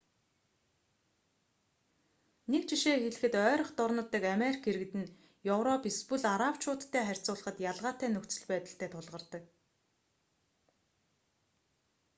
нэг жишээ хэлэхэд ойрхи дорнод дахь америк иргэд нь европ эсвэл арабчуудтай харьцуулахад ялгаатай нөхцөл байдалтай тулгардаг